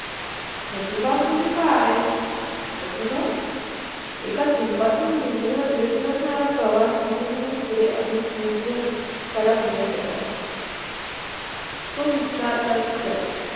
प्रतिभा म्हणजे काय? प्रतिभा, एका थेंबातून निर्जरणारा प्रवास सुरू होऊन पुढे अनेक निर्जर त्याला मिळत जाता तो वास्तरतात जातात